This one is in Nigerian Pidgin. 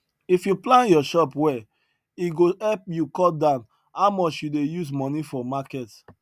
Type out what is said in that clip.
if you plan your chop well e go help you cut down how much you dey use money for market